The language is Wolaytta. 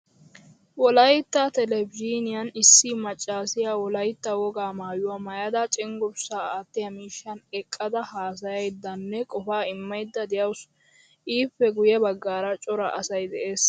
Wolaytta televzhiniyan issi maccasiyaa wolaytta wogaa maayuwaa maayada cenggurssa aattiyaa miishshan eqqada haasayiydanne qofa immayda deawusu. Ippe guye baggaara cora asay de'ees.